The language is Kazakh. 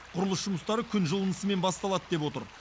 құрылыс жұмыстары күн жылынысымен басталады деп отыр